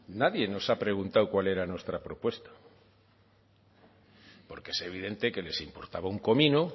nadie nos ha preguntado cuál era nuestra propuesta porque es evidente que les importaba un comino